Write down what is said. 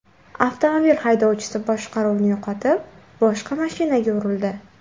Avtomobil haydovchisi boshqaruvni yo‘qotib, boshqa mashinaga urildi.